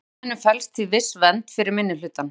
Í ákvæðinu felst því viss vernd fyrir minnihlutann.